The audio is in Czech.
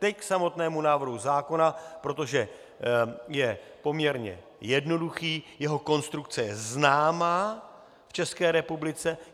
Teď k samotnému návrhu zákona, protože je poměrně jednoduchý, jeho konstrukce je známá v České republice.